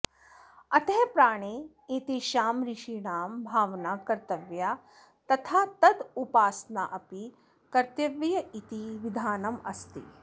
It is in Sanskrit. अतः प्राणे एतेषाम् ऋषीणां भावना कर्तव्या तथा तदूपोपासनाऽपि कर्तव्येति विधानम् अस्ति